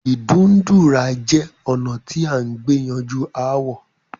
Ìdúndúrà jẹ̀ ònà tí à gbè yanjú àwò